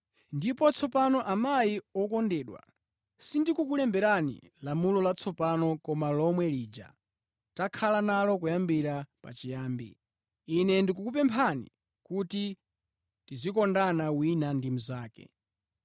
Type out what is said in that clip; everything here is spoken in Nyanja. Ndipo tsopano, amayi wokondedwa, sindikukulemberani lamulo latsopano koma lomwe lija takhala nalo kuyambira pachiyambi. Ine ndikukupemphani kuti tidzikondana wina ndi mnzake.